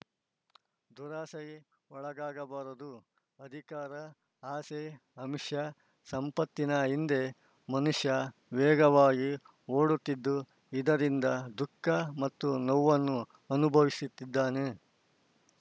ದುರಾಸೆಗೆ ಒಳಗಾಗಬಾರದು ಅಧಿಕಾರ ಆಸೆ ಆಮಿಷ ಸಂಪತ್ತಿನ ಹಿಂದೆ ಮನುಷ್ಯ ವೇಗವಾಗಿ ಓಡುತ್ತಿದ್ದು ಇದರಿಂದ ದುಃಖ ಮತ್ತು ನೋವನ್ನು ಅನುಭವಿಸುತ್ತಿದ್ದಾನೆ